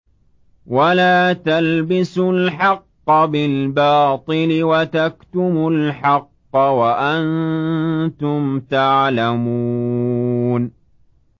وَلَا تَلْبِسُوا الْحَقَّ بِالْبَاطِلِ وَتَكْتُمُوا الْحَقَّ وَأَنتُمْ تَعْلَمُونَ